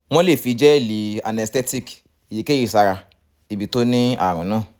wọ́n lè fi gẹ́ẹ̀lì anesthetic èyíkéyìí sára ibi tó ní ààrùn náà